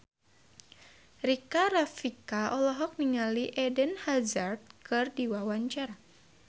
Rika Rafika olohok ningali Eden Hazard keur diwawancara